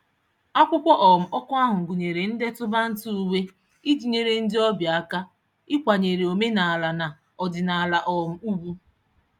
Akwụkwọ um oku ahụ gụnyere ndetu banter uwe iji nyere ndị obịa aka ịkwanyere omenaala na ọdịnaala um ugwu.